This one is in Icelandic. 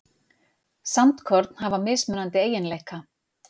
sandkorn hafa mismunandi eiginleika